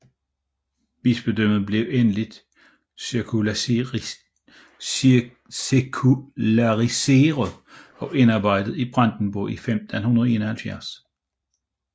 Bispedømmet blev endelig sekulariseret og indarbejdet i Brandenburg i 1571